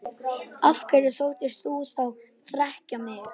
Af hverju þóttist þú þá þekkja mig?